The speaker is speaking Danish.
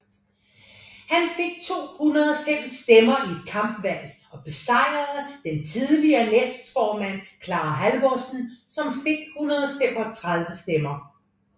Han fik 205 stemmer i et kampvalg og besejrede den tidligere næstformand Clara Halvorsen som fik 135 stemmer